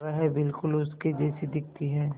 वह बिल्कुल उसके जैसी दिखती है